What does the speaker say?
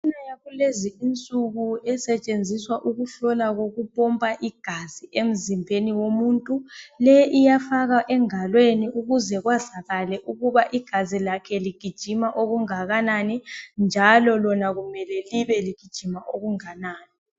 Imitshina yakulezi insuku esetshenziswa ukuhlola kokupompa igazi emzimbeni womuntu. Leyi iyafakwa engalweni ukuze kwazakale ukuba igazi lakhe ligijima okungakanani, njalo lona kumele libe ligijima okunganani.